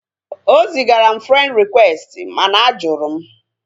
O zigara m frend rịkwesti mana a jụrụ m